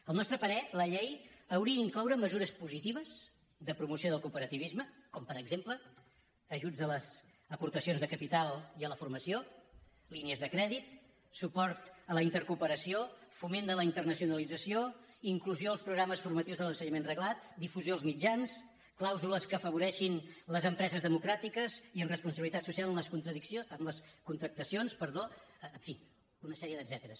al nostre parer la llei hauria d’incloure mesures positives de promoció del cooperativisme com per exemple ajuts a les aportacions de capital i a la formació línies de crèdit suport a la intercooperació foment de la internacionalització inclusió als programes formatius de l’ensenyament reglat difusió als mitjans clàusules que afavoreixin les empreses democràtiques i amb responsabilitat social en les contractacions en fi una sèrie d’etcèteres